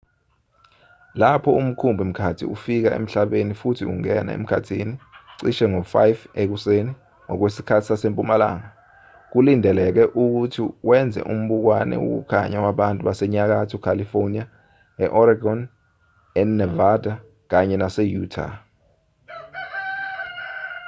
lapho umkhumbi-mkhathi ufika emhlabeni futhi ungena emkhathini cishe ngo-5 ekuseni ngokwesikhathi sasempumalanga kulindeleke ukuba wenze umbukwane wokukhanya wabantu basenyakatho california e-oregon enavada kanye nase-utah